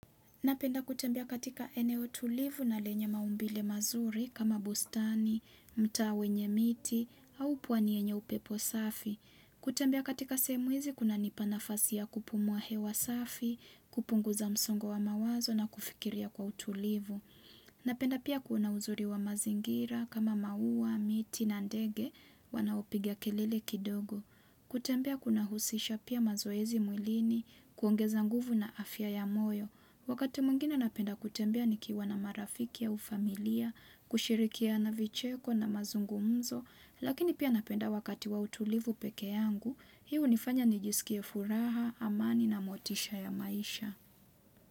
Napenda kutembea katika eneo tulivu na lenye maumbile mazuri kama bustani, mtaa wenye miti, au pwani enye upepo safi. Kutembea katika sehemu hizi kunanipa nafasi ya kupumua hewa safi, kupunguza msongo wa mawazo na kufikiria kwa utulivu. Napenda pia kuona uzuri wa mazingira kama maua, miti na ndege wanaopiga kelele kidogo. Kutembea kunahusisha pia mazoezi mwilini kuongeza nguvu na afya ya moyo. Wakati mungine napenda kutembea nikiwa na marafiki au familia, kushirikiana vicheko na mazungumzo, lakini pia napenda wakati wa utulivu peke yangu, hii hunifanya nijisikie furaha, amani na motisha ya maisha.